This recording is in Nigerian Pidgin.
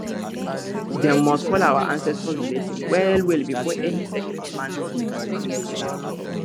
dem must call our ancestors blessing well well before any sacred planting for community land